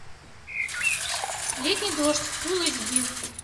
летний дождь фулл эйч ди